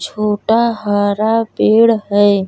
छोटा हरा पेड़ है।